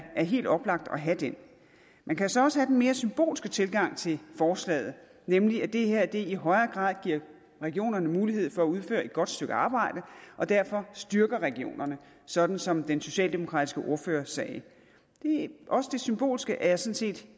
helt oplagt at have den man kan så også have den mere symbolske tilgang til forslaget nemlig at det her i højere grad giver regionerne mulighed for at udføre et godt stykke arbejde og derfor styrker regionerne sådan som den socialdemokratiske ordfører sagde også det symbolske er set